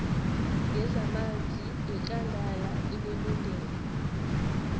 yezamanzi yekangala inelungelo